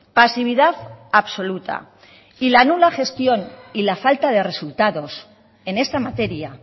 pasividad absoluta y la nula gestión y la falta de resultados en esta materia